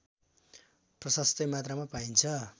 प्रशस्तै मात्रामा पाइन्छ